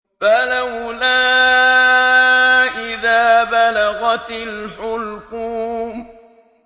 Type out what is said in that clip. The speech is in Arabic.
فَلَوْلَا إِذَا بَلَغَتِ الْحُلْقُومَ